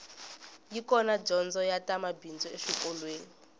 yi kona dyondzo ya ta mabindzu exikolweni